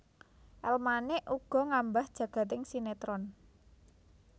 El Manik ugi ngambah jagading sinetron